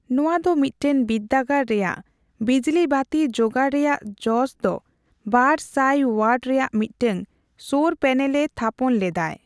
ᱱᱚᱣᱟ ᱫᱚ ᱢᱤᱫᱴᱟᱝ ᱵᱤᱨᱫᱫᱳᱜᱟᱲ ᱨᱮᱭᱟᱜ ᱵᱤᱡᱞᱤ ᱵᱟᱹᱛᱤ ᱡᱳᱜᱟᱲ ᱨᱮᱭᱟᱜ ᱡᱚᱥᱫᱚ ᱵᱟᱨ ᱥᱟᱭ ᱚᱭᱟᱴ ᱨᱮᱭᱟᱜ ᱢᱤᱫᱴᱟᱝ ᱥᱳᱨᱚ ᱯᱮᱱᱮᱞ ᱮ ᱛᱷᱟᱯᱚᱱ ᱞᱮᱫᱟᱭ ᱾